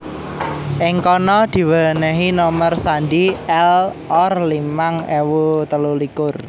Ing kana diwenehi nomer sandhi L Or limang ewu telu likur